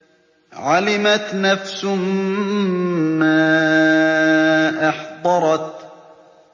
عَلِمَتْ نَفْسٌ مَّا أَحْضَرَتْ